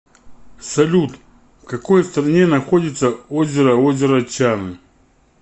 салют в какой стране находится озеро озеро чаны